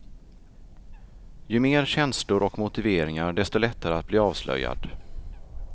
Ju mer känslor och motiveringar, desto lättare att bli avslöjad.